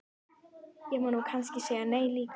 Ég má nú kannski segja nei líka.